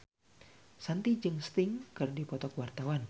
Shanti jeung Sting keur dipoto ku wartawan